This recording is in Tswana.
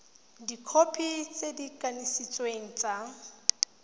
dikhopi tse di kanisitsweng tsa